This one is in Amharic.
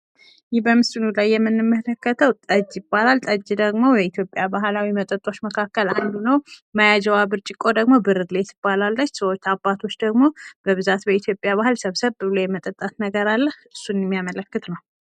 ይህ በምስሉ ላይ የምንመለከትው ጠጅ ይባላል። ጠጅ ደሞ ከኢትዮጲያ ባህላዊ መጠጦች መካከል አንዱ ነው። መያዣዋ ብርጭኮ ደሞ ብርሌ ትባላለች። አባቶች ደግሞ በብዛት በኢትዮጲያ ባህል ሰብሰብ ብሎ የመጠጣት ነገር አለ። እሱን የሚያመለክት ነው።